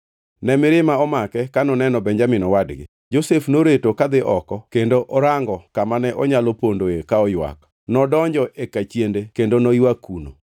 Ne mirima omake ka oneno Benjamin owadgi. Josef noreto kadhi oko kendo orango kamane onyalo pondoe ka oywak. Nodonjo e kachiende kendo ne oywak kuno.